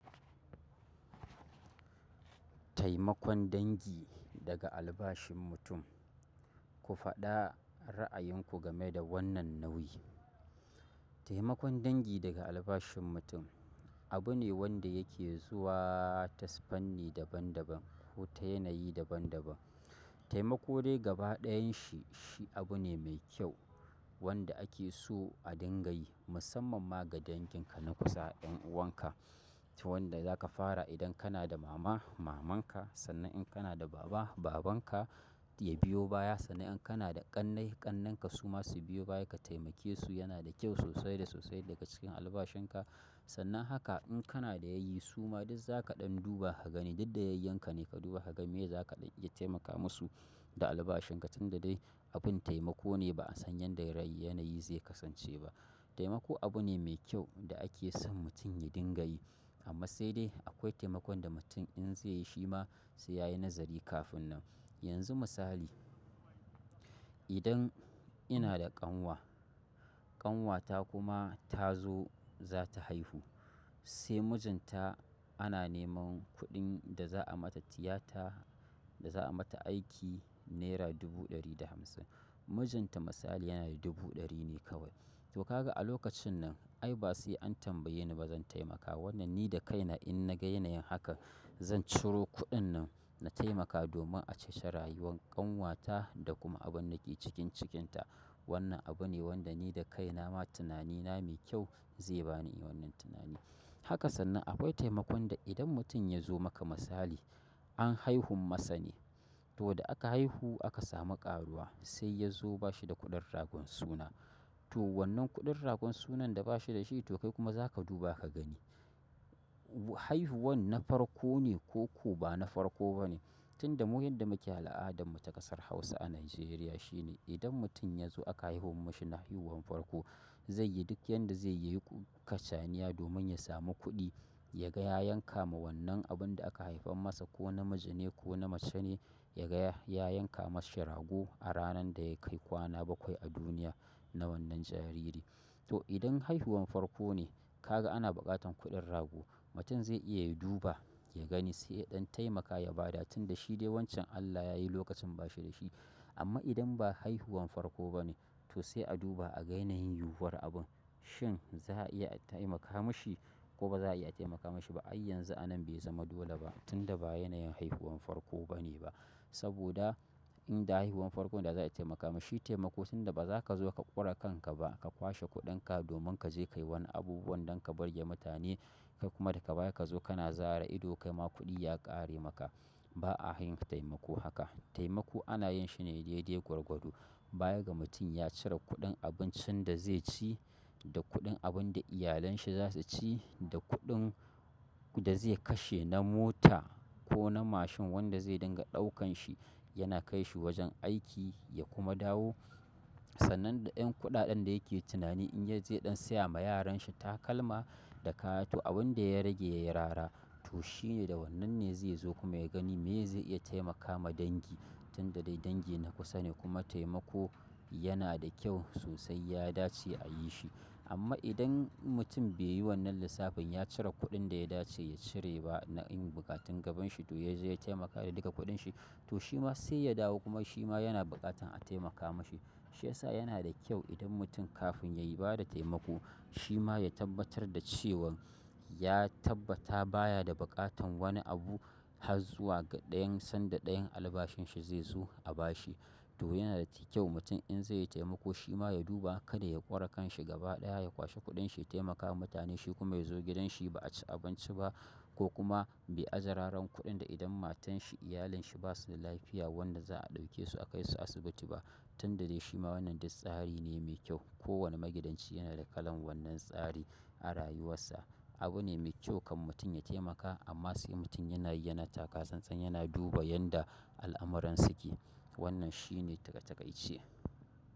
Taimakon dangi daga albashin mutum. Ku faɗa ra'ayinku game da wannan nau'i. Taimakon dangi daga albashin mutum abu ne wanda yake zuwa ta fanni daban daban ko ta yanayi daban daban. Taimako dai gaba ɗayan shi, shi abu ne mai kyau wanda ake so a dinga yi musamman ma ga danginka na kusa, ƴan'uwanka. To wanda zaka fara idan kana da mama, maman ka sannan in kana da baba, babanka ya biyo baya. Sannan in kana da ƙannai, ƙannenka su ma su biyo baya ka taimake su yana da kyau sosai da sosai daga cikin albashinka. Sannan haka in kana da yayyi suma duk zaka ɗan duba ka gani duk da yayyinka ne ka duba ka gani me zaka iya taimaka musu da albashinka tunda dai abin taimako ne ba an san yadda rai yanayi zai kasance ba. Taimako abu ne mai kyau da ake son mutum ya dinga yi amma sai dai akwai taimakon da mutum in zai yi shi ma sai yayi nazari kafin nan. Yanzu misali, idan ina da ƙanwa ƙanwata kuma ta zo zata haihu sai mijinta ana neman kuɗin da za a mata tiyata da za a mata aiki naira dubu ɗari da hamsin. Mijinta misali yana da dubu ɗari ne kawai. To kaga a lokacin nan ai ba sai an tambaye ni ba zan taimaka. Wannan ni da kaina in na ga yanayin haka zan ciro kuɗin nan na taimaka domin a ceci rayuwar ƙanwata da kuma abun dake cikin ta wannan abu ne wanda ni da kaina ma tunanina mai kyau zai ba ni wannan tunani. Haka sannan akwai taimakon da idan mutum ya zo maka misali, an haihun masa ne. To da aka haihu aka samu ƙaruwa sai ya zo ba shi da kuɗin ragon suna. To wannan kuɗin ragon sunan da bashi dashi, to kai kuma zaka duba ka gani haihuwa na farko ne koko bana farko bane. Tunda mu yadda muke al'adarmu ta ƙasar Hausa a Najeriya shine idan mutum ya zo aka haihuwa masa haihuwan farko zaiyi duk yadda zaiyi yayi kacaniya domin ya samu kuɗi. Ya ga ya yanka ma wannan abin da aka haifan masa ko namiji ne ko na mace ne ya gaya ya yanka mashi rago. A ranar da ya kai kwana bakwai a duniya, na wannan jariri. To idan haihuwan farko ne kaga ana buƙatan kuɗin rago, mutum zai iya ya duba ya gani sai yaɗan taimaka ya bada tunda shi dai wancan Allah yayi lokacin ba shi da shi. Amma idan ba haihuwan farko ba ne to sai a duba a ga yanayin yuwuwar abun. Shin za a iya a taimaka mashi ko ba za a iya a taimaka mashi ba? Ai yanzu a nan bai zama dole ba tunda ba yanayin haihuwan farko ba ne ba. Saboda in da haihuwan farkon da za a taimaka mashi shi taimako tunda ba za ka zo ka ƙure kanka ba ka kwashe kuɗinka domin ka je ka yi wani abubuwan don ka birge mutane kai kuma da ga baya ka zo kana zare ido kai ma kuɗi ya ƙare maka. Ba'a yin taimako haka. Taimako ana yinshi ne daidai gwargwado. Baya ga mutum ya cire kuɗin abincin da zai ci da kuɗin abun da iyalanshi za su ci, da kuɗin da zai kashe na mota. Ko na mashin wanda zai dinga ɗaukan shi yana kai shi wajen aiki ya kuma dawo. Sannan da ƴan kuɗaɗen da yake tunani in ya je ɗan saya ma yaranshi takalma da kaya to abin da ya rage ya yi rara. To shine da wannan ne zai zo kuma ya gani me zai iya taimaka ma dangi tunda dai dangi na kusa ne kuma taimako yana da kyau sosai ya dace a yi shi. Amma idan mutum bai yi wannan lissafin ya cire kuɗin da ya dace ya cire ba na yan buƙatun gabanshi, to ya je ya taimaka da duka kuɗin shi to shi ma sai ya dawo kuma shi ma yana buƙatan a taimaka mashi. Shi yasa yana da kyau idan mutum kafin ya bada taimako shi ma ya tabbatar da cewan ya tabbata baya da buƙatan wani abu har zuwa ga ɗayan sanda ɗayan albashin shi zai zo a ba shi. To yana da kyau mutum in zai yi taimako shi ma ya duba kada ya ƙure kanshi gaba ɗaya ya kwashe kuɗinshi ya taimaka ma mutane shi kuma ya zo gidanshi ba a ci abinci ba ko kuma bai ajiye raran kuɗin da idan matanshi, iyalanshi basu da lafiya wanda za a ɗauke su a kai su asibiti ba. Tunda dai shi ma wannan duk tsari ne mai kyau. Ko wani magidanci yana da kalan wannan tsari a rayuwarsa. Abu ne mai kyau kan mutum ya taimaka amma sai mutum yanayi yana taka sannan yana duba yanda al'amuran suke. Wannan shi ne a takaice.